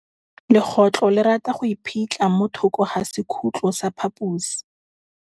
Legôtlô le rata go iphitlha mo thokô ga sekhutlo sa phaposi.